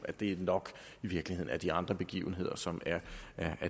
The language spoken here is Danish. at det nok i virkeligheden er de andre begivenheder som er